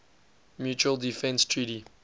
mutual defense treaty